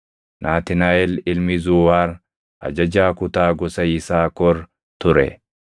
Naatnaaʼel ilmi Zuuwaar ajajaa kutaa gosa Yisaakor ture;